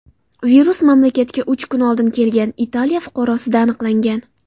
Virus mamlakatga uch kun oldin kelgan Italiya fuqarosida aniqlangan.